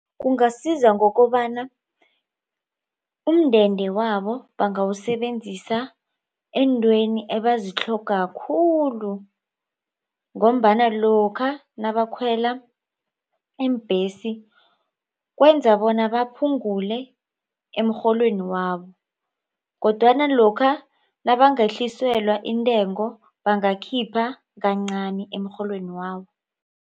Kungasiza ngokobana umndeni wabo bangawusebenzisa eentweni ebazitlhogako khulu. Ngombana lokha nabakhwela iimbhesi kwenza bona baphungule emrholweni wabo kodwana lokha nabangahliselwa intengo bangakhipha kancani emrholweni wabo.